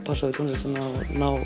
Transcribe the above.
passa við tónlistina og